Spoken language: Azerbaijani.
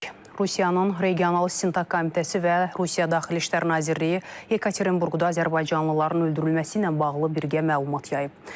Rusiyanın Regional İstintaq Komitəsi və Rusiya Daxili İşlər Nazirliyi Yekaterinburqda azərbaycanlıların öldürülməsi ilə bağlı birgə məlumat yayıb.